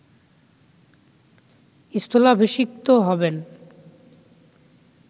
স্থলাভিষিক্ত হবেন